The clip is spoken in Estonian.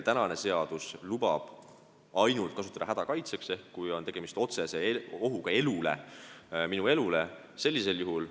Seadus lubab kasutada relva ainult hädakaitseks ehk siis, kui on otsene oht elule, vaid sellisel juhul.